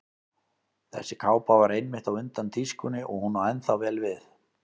Þessi kápa var einmitt á undan tískunni og hún á ennþá vel við.